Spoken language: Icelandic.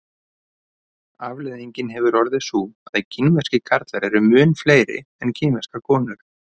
afleiðingin hefur orðið sú að kínverskir karlar eru mun fleiri en kínverskar konur